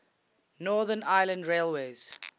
northern ireland railways